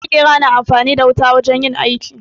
Maƙera na amfani da wuta wajen yin aiki.